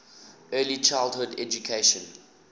early childhood education